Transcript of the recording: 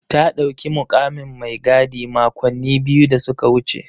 Ta ɗauki mukamin mai gadi makonni biyu da suka wuce.